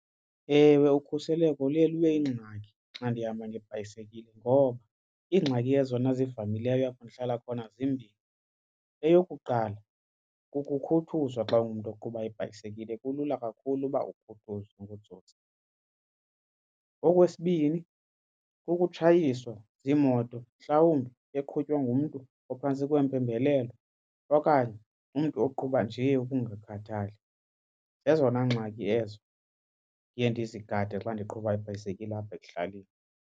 Ewe, ukhuseleko luye luye yingxaki xa ndihamba ngebhayisekile ngoba ingxaki yezona ezimaileyo apho ndihlala khona zimbini. Eyokuqala, kukhuthuzwa xa ungumntu oqhuba ibhayisekile kulula kakhulu uba ukhuthuzwe ngootsotsi. Okwesibini, ukutshayiswa ziimoto mhlawumbi eqhutywa ngumntu ophantsi kweempembelelo okanye umntu oqhuba nje ukungakhathali. Zezona ngxaki ezo ndiye ndizigade xa ndiqhuba ibhayisekile apha ekuhlaleni.